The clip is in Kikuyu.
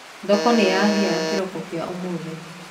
Thoko nĩyahĩa kĩroko kĩa ũmũthĩ.